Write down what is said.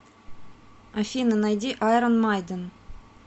афина найди айрон майден